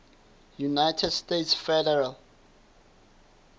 united states federal